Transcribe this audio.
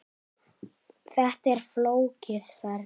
Þetta er flókið ferli.